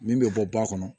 Min bɛ bɔ ba kɔnɔ